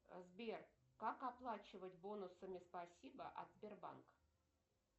сбер как оплачивать бонусами спасибо от сбербанка